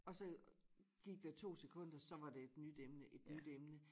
Og så gik der 2 sekunder så var det nyt emne et nyt emne